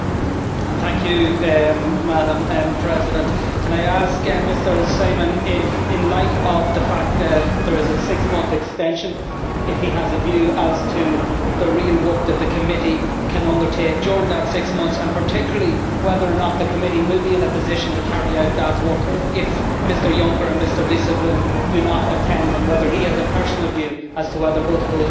Can I ask Mr Simon if, in light of the fact that there is a six month extension, he has a view as to the real work that the committee can undertake during that six months, and particularly whether or not the committee will be in a position to carry out that work if Mr Juncker and Mr Dijsselbloem do not attend, and whether he has a personal view as to whether both of these gentlemen should attend the hearings over the next number of months?